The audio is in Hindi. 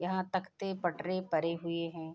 यहाँ तकते पटरे पड़े हुए हैं।